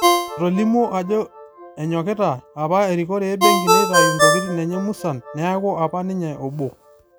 Etolimu ajo enyokita apa erikore e benki neitayu ntokitin enye musan neeku apa ninye obo.